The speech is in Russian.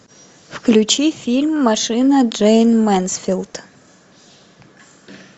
включи фильм машина джейн мэнсфилд